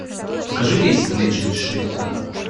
покажи рейсы в лэчан из шривпорта